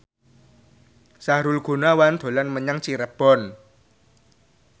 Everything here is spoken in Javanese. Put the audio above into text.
Sahrul Gunawan dolan menyang Cirebon